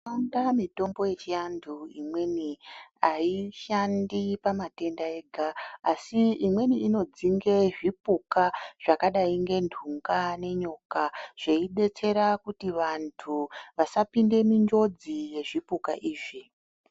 Indaa mitombo yechantu imweni aishandi pamatenda ega asi imweni inodzinga zvipuka zvakadai ngentunga nenyoka zveidetsera kuti vantu vasapinda munjodzi yezvipuka izvi.